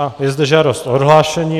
A je zde žádost o odhlášení.